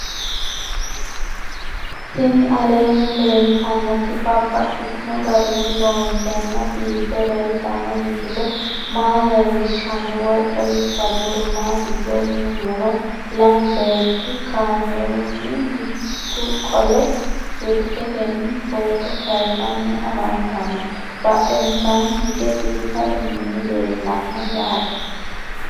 Tinni aleenni leelittannotti babaxxittinno garinni loonseenna biiffe leelittanno misile maa leelishshanno woy xawisannori maattiya yinummoro lamu beetti kameerunni mittu qole silikettenni footto kayiinsanni affanttanno badheennsaanni hige biiffaddu minni leellanna yaatte